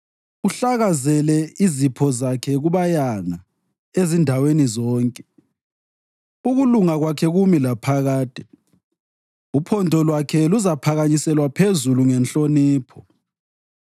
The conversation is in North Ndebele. Uhlakazele izipho zakhe kubayanga ezindaweni zonke, ukulunga kwakhe kumi laphakade; uphondo lwakhe luzaphakanyiselwa phezulu ngenhlonipho.